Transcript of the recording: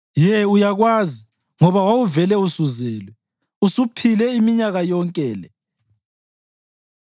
Ye uyakwazi, ngoba wawuvele usuzelwe! Usuphile iminyaka yonke le!